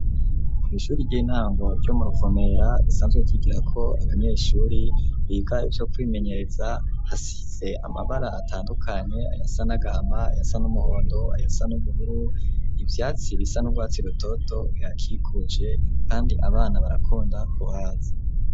Kw' ishuri ry'intango ryo muruvumera, risanzwe ryigirako Abanyeshuri biga iVyo kwimenyereza hasize amabara atandukanye, ayasa n'agahama, yasa n'umuhondo, ayasa n'ubuhuru, ivyatsi bisa n'urwatsi rutoto, bihakikuje kandi abana barakunda kuhaza.